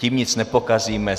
Tím nic nepokazíme.